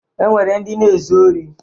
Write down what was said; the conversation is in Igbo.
E nwere ndị na-ezu ori.